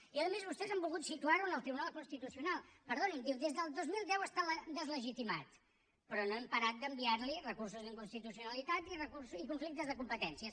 i a més vostès han volgut situarho en el tribunal constitucional perdonin diu des del dos mil deu està deslegitimat però no hem parat d’enviarli recursos d’inconstitucionalitat i conflictes de competències